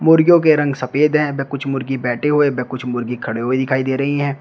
मुर्गियों के रंग सफेद है वे कुछ मुर्गी बैठे हुए वे कुछ मुर्गी खड़े हुए दिखाई दे रही है।